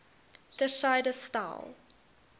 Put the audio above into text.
ter syde stel